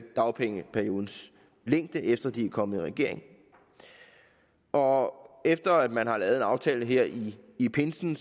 dagpengeperiodens længde efter de er kommet i regering og efter at man har lavet en aftale her i i pinsen